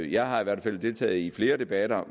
jeg har i hvert fald deltaget i flere debatter